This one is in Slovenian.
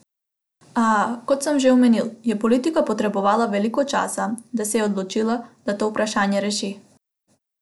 A, kot sem že omenil, je politika potrebovala veliko časa, da se je odločila, da to vprašanje reši.